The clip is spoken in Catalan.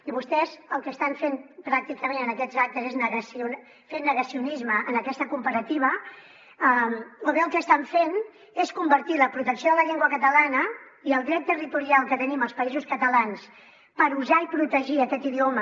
i vostès el que estan fent pràcticament en aquests actes és fer negacionisme en aquesta comparativa o bé el que estan fent és convertir la protecció de la llengua catalana i el dret territorial que tenim els països catalans per usar i protegir aquest idioma